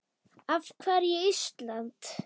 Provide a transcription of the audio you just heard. Af hverju Ísland?